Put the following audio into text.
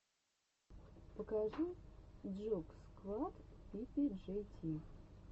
покажи джугсквад пи пи джей ти